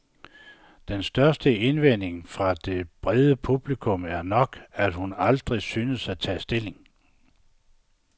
Den største indvending fra det brede publikum er nok, at hun aldrig synes at tage stilling.